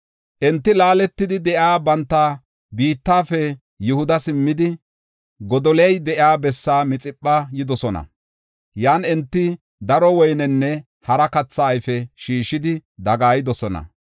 Enti laaletidi de7iya banta biittafe Yihuda simmidi, Godoliya de7iya bessaa Mixipha yidosona. Yan enti daro woynenne hara katha ayfe shiishidi dagaayidosona.